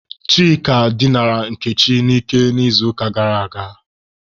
Chika dinara Nkechi n'ike n'izuụka gara aga.